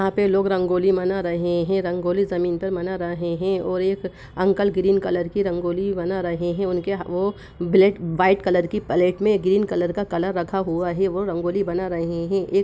एक यहाँ पे लोग रंगोली बना रहे हैं रंगोली जमीन पर बना रहे हैं और एक अंकल ग्रीन कलर की रंगोली बना रहे हैं उनके वो ब्लैक व्हाइट कलर के प्लेट में ग्रीन कलर का कलर रखा हुआ है वह रंगोली बना रहे हैं ए --